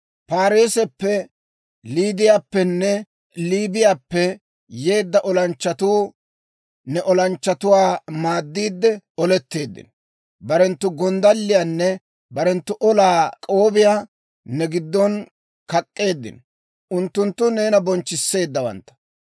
«‹ «Paareesappe, Liidiyaappenne Liibiyaappe yeedda olanchchatuu ne olanchchatuwaa maaddiide oletteeddino; barenttu gonddalliyaanne barenttu olaa k'oobiyaa ne giddon kak'k'eeddino; unttunttu neena bonchchisseeddawantta.